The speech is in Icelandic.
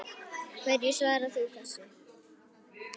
Hverju svarar þú þessu?